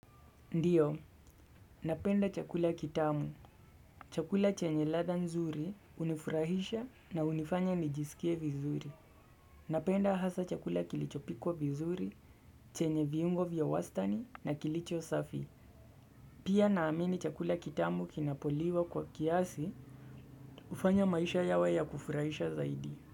Ndiyo, napenda chakula kitamu. Chakula chenye ladha nzuri, hunifurahisha na unifanya nijisikie vizuri. Napenda hasa chakula kilicho pikwa vizuri, chenye viungo vya wastani na kilicho safi. Pia naamini chakula kitamu kinapoliwa kwa kiasi, hufanya maisha yawe ya kufurahisha zaidi.